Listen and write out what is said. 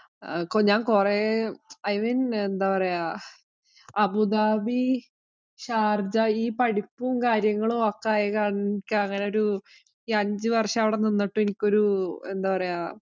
ആഹ് ഞാന്‍ കൊറേ mean എന്താ പറയ്ക, അബുദാബി, ഷാര്‍ജ ഈ പഠിപ്പും, കാര്യങ്ങളും ഒക്കെ ആയ കാരണം എനിക്ക് അങ്ങനെ ഒരു ഈ അഞ്ചുവര്‍ഷം അവിടെ നിന്നിട്ട് എനിക്കൊരു എന്താ പറയ്ക